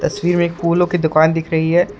तस्वीर में एक फूलों की दुकान दिख रही है।